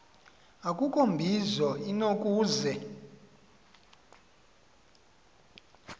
akukho mbizo inokuze